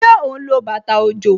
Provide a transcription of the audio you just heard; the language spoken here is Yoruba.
Ṣé ó ń lo bàtà òjò?